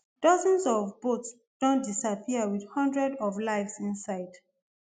dozens of boats don disappear wit hundreds of lives inside